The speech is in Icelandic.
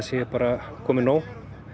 sé bara komið nóg